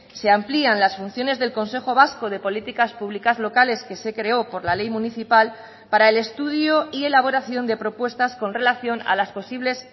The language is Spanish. se amplían las funciones del consejo vasco de políticas públicas locales que se creó por la ley municipal para el estudio y elaboración de propuestas con relación a las posibles